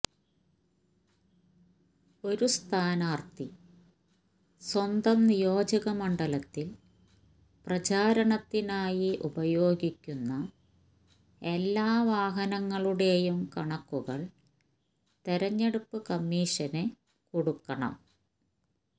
ഒരു സ്ഥാനാർത്ഥി സ്വന്തം നിയോജകമണ്ഡലത്തിൽ പ്രചാരണത്തിനായി ഉപയോഗിക്കുന്ന എല്ലാ വാഹനങ്ങളുടെയും കണക്കുകൾ തെരഞ്ഞെടുപ്പ് കമ്മീഷന് കൊടുക്കണം